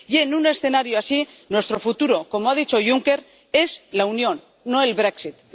Y, en un escenario así, nuestro futuro —como ha dicho Juncker— es la unión, no el brexit